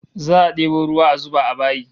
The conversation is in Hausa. Za'a debo ruwa a zuba a bayi